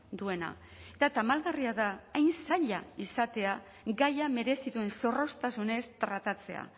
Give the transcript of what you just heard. duena eta tamalgarria da hain zaila izatea gaia merezi duen zorroztasunez tratatzea